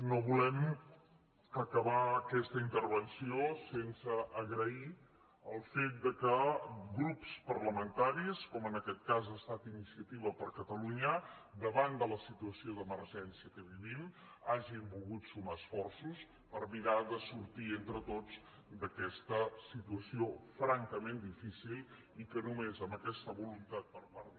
no volem acabar aquesta intervenció sense agrair el fet que grups parlamentaris com en aquest cas ha estat iniciativa per catalunya davant de la situació d’emergència que vivim hagin volgut sumar esforços per mirar de sortir entre tots d’aquesta situació fran·cament difícil i que només amb aquesta voluntat per part